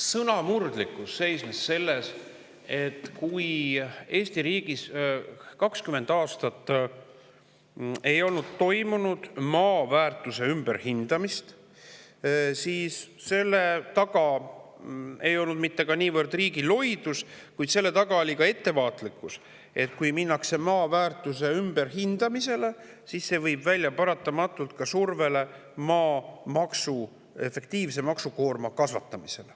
Sõnamurdlikkus seisnes selles, et kui Eesti riigis ei olnud 20 aastat toimunud maa väärtuse ümberhindamist, siis selle taga ei olnud mitte riigi loidus, vaid selle taga oli ka ettevaatlikkus, sest kui hakatakse maa väärtust ümber hindama, siis see viib paratamatult välja surveni efektiivset maamaksukoormat kasvatada.